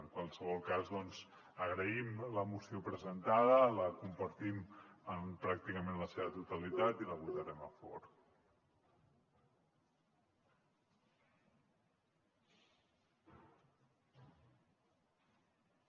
en qualsevol cas doncs agraïm la moció presentada la compartim en pràcticament la seva totalitat i la votarem a favor